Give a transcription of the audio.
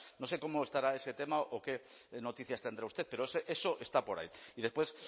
no sé cómo estará ese tema o qué noticias tendrá usted pero eso está por ahí y después